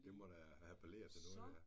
Det må da appellere til noget ja